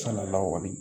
Salaw